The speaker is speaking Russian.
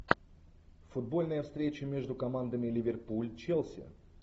футбольная встреча между командами ливерпуль челси